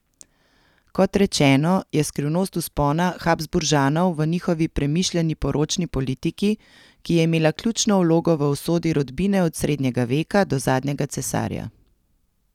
Kot rečeno, je skrivnost vzpona Habsburžanov v njihovi premišljeni poročni politiki, ki je imela ključno vlogo v usodi rodbine od srednjega veka do zadnjega cesarja.